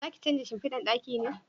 Za ki canja shimfidan ɗaki ne?